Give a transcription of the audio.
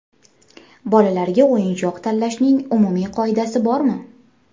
Bolalarga o‘yinchoq tanlashning umumiy qoidasi bormi?